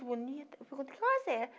bonita